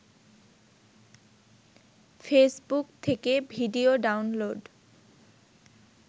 Facebook থেকে video download